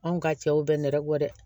Anw ka cɛw bɛ nɛrɛ bɔ dɛ